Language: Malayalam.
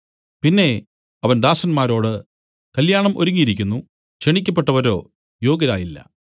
പിന്നെ അവൻ ദാസന്മാരോട് കല്യാണം ഒരുങ്ങിയിരിക്കുന്നു ക്ഷണിക്കപ്പെട്ടവരോ യോഗ്യരായില്ല